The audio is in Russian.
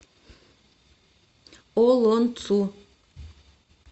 олонцу